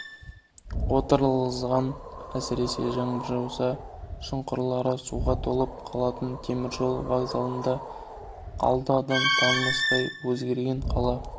отырғызылған әсіресе жаңбыр жауса шұңқырлары суға толып қалатын теміржол вокзалының алды адам танымастай өзгерген қала